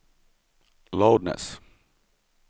loudness